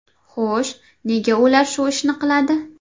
Xo‘sh, nega ular shu ishni qiladi?